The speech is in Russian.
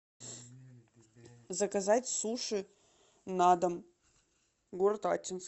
заказать суши на дом город атинск